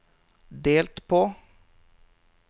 delt på